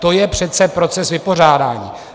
To je přece proces vypořádání.